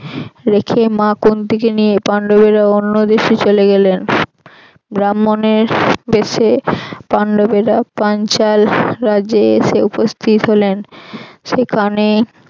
রেখে মা কুন্তিকে নিয়ে পান্ডবেরা অন্যদেশে চলে গেলেন ব্রাম্মনের বেশে পান্ডবেরা পাঞ্চাল রাজ্যে এসে উপস্থিত হলেন সেকানে